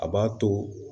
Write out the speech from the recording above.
A b'a to